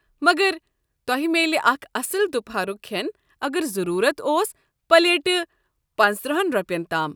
مگر تۄہہِ میلہِ اکھ اصٕل دُپہرُک کھٮ۪ن اگر ضروٗرت اوس پلیٹہٕ پنٛژتٕرہَن رۄپین تام۔